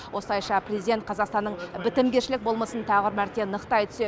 осылайша президент қазақстанның бітімгершілік болмысын тағы бір мәрте нықтай түседі